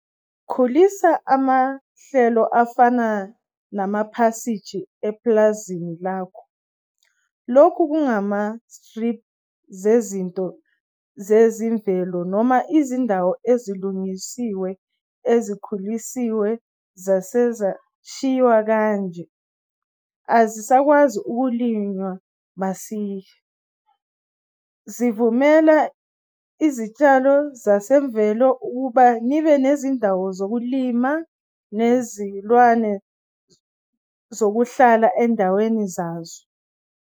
Khulisa amahlelo afana namaphasiji epulazini lakho. Lokhu kungamastriphi zezinto zezimvelo noma izindawo ezilungisiwe ezikhulisiwe zasezashiwa kanje azisakwazi ukulinywa masinya. Zivumela izitshalo zazemvelo ukuba nibe nezindawo zokumila nezilwane zokuhlala endaweni zazo.